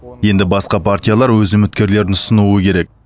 енді басқа партиялар өз үміткерлерін ұсынуы керек